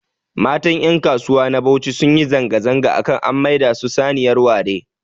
Mata ƴankasuwa na Bauchi sunyi zanga-zanga akan an maida su saniyar ware